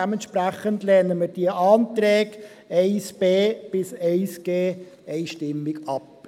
Dementsprechend lehnen wir die Anträge 1b bis 1g einstimmig ab.